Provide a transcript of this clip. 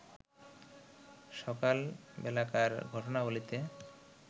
সকালবেলাকার ঘটনাবলীতে